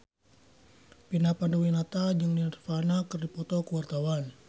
Vina Panduwinata jeung Nirvana keur dipoto ku wartawan